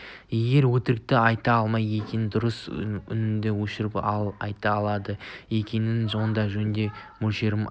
егер өтірікті айта алмайды екенсің дұрысы үніңді өшір ал айта алады екенсің онда жөнімен мөлшерімен айт